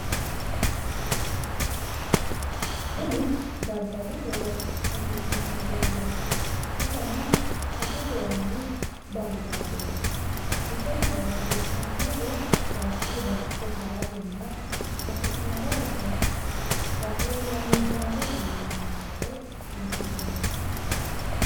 Tini daddalu horo afi'neemmo dogooti iseno sasu goomi bajaajeeti iseno horonsi'neemmohu baayichi baayicho haratenna hasi'noommo base rahenna muddamme iillineemmo gede kaa'litannonkete.